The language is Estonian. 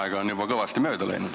Aega on juba kõvasti mööda läinud.